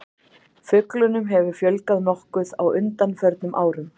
Fuglunum hefur fjölgað nokkuð á undanförnum árum.